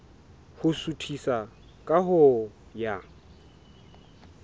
ho suthisa ka ho ya